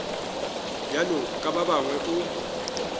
bjalo ka ba bangwe o